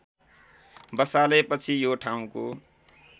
बसालेपछि यो ठाउँको